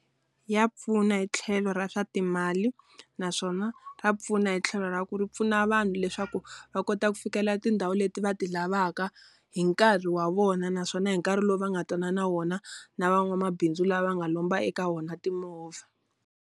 Ya pfuna hi tlhelo ra swa timali naswona ra pfuna hi tlhelo ra ku ri pfuna vanhu leswaku va kota ku fikela tindhawu leti va ti lavaka, hi nkarhi wa vona naswona hi nkarhi lowu va nga twanana wona na van'wamabindzu lava va nga lomba eka vona timovha.